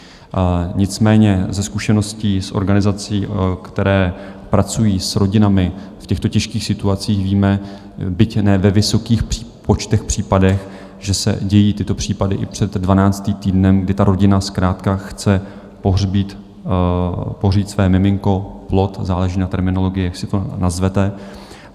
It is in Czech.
Nicméně ze zkušeností z organizací, které pracují s rodinami v těchto těžkých situacích, víme, byť ne ve vysokých počtech případů, že se dějí tyto případy i před 12. týdnem, kdy ta rodina zkrátka chce pohřbít své miminko, plod, záleží na terminologii, jak si to nazvete.